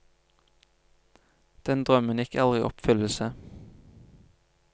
Den drømmen gikk aldri i oppfyllelse.